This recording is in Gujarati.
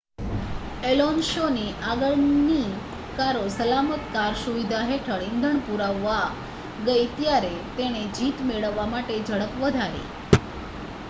એલોન્સોની આગળની કારો સલામત કાર સુવિધા હેઠળ ઇંધણ પુરાવવા ગઈ ત્યારે તેણે જીત મેળવવા માટે ઝડપ વધારી